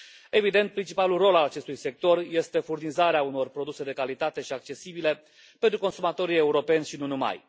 Evident, principalul rol al acestui sector este furnizarea unor produse de calitate și accesibile pentru consumatorii europeni și nu numai.